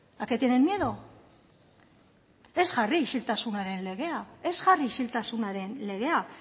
a qué tienen miedo ez jarri isiltasunaren legea